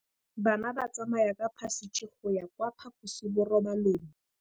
Bana ba tsamaya ka phašitshe go ya kwa phaposiborobalong.